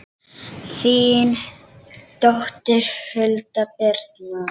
þín dóttir, Hulda Birna.